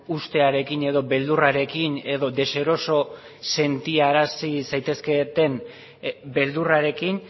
ustearekin edo beldurrarekin edo deseroso sentiarazi zaitezketen beldurrarekin